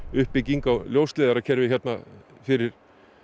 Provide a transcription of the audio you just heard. uppbygging á ljósleiðarakerfi hérna fyrir